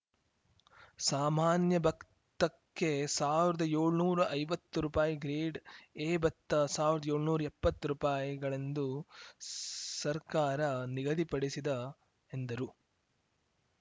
ಸಾಮಾನ್ಯ ಭತ್ತಕ್ಕೆ ಸಾವಿರ್ದ ಯೋಳ್ನೂರಾ ಐವತ್ತು ರೂಪಾಯಿ ಗ್ರೇಡ್‌ ಎ ಭತ್ತ ಸಾವಿರ್ದ ಯೋಳ್ನೂರಾಎಪ್ಪತ್ತು ರೂಪಾಯಿ ಗಳೆಂದು ಸರ್ಕಾರ ನಿಗದಿಪಡಿಸಿದ ಎಂದರು